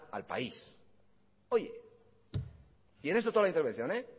al país oye y en esto toda la intervención